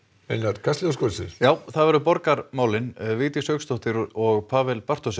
kastljós það verða borgarmál Vigdís Hauks og Pawel Bartoszek